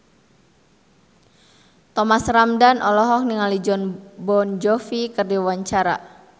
Thomas Ramdhan olohok ningali Jon Bon Jovi keur diwawancara